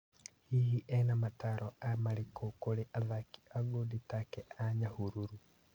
Hihi ena mataaro marĩkũ kũrĩ athaki a ngudi take a Nyahururu?